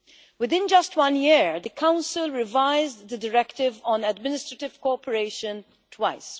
Within just one year the Council revised the Directive on Administrative Cooperation twice.